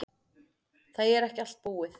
Það er ekki allt búið.